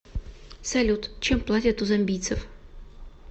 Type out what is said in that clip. салют чем платят у замбийцев